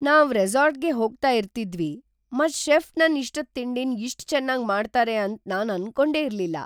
ನಾವ್ ರೆಸಾರ್ಟ್ಗೆ ಹೋಗ್ತಾ ಇರ್ತಿದ್ದ್ವಿ ಮತ್ ಶೆಫ್ ನನ್ ಇಷ್ಟದ್ ತಿಂಡಿನ ಇಷ್ಟ್ ಚೆನ್ನಾಗ್ ಮಾಡ್ತಾರೆ ಅಂತ ನಾನ್ ಅನ್ಕೊಂಡೆ ಇರ್ಲಿಲ್ಲ.